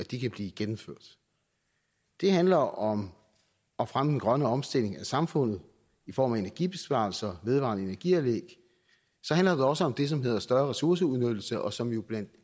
de kan blive gennemført det handler om at fremme den grønne omstilling af samfundet i form af energibesparelser og vedvarende energi anlæg så handler det også om det som hedder større ressourceudnyttelse og som jo blandt